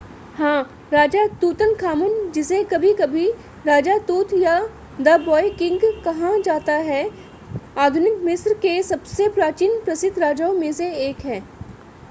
हां राजा तूतनखामन जिसे कभी-कभी राजा तूत या द ब्वॉय किंग कहा जाता है आधुनिक मिस्र के सबसे प्राचीन प्रसिद्ध राजाओं में से एक है